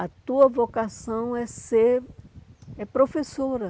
A tua vocação é ser é professora.